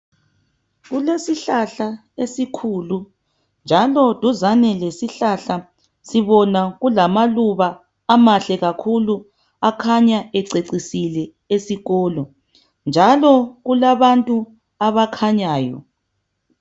Kulesihlahla esikhulu njalo duzane lesihlahla sibona kulamaluba amahle kakhulu akhanya ececisile esikolo njalo kulabantu abakhanyayo.